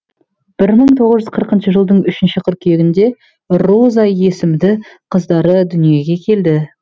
бір мың тоғыз жүз қырқыншы жылдың үшінші қыркүйегінде роза есімді қыздары дүниеге келді